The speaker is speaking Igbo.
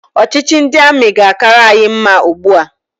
Ọchịchị ndị amị ga-akara anyị mma ugbua